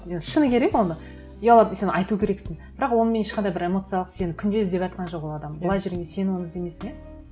енді шыны керек оны ұялатын сен айту керексің бірақ онымен ешқандай бір эмоциялық сені күнде іздеватқан жоқ ол адам былай жүргенде сен оны іздемейсің иә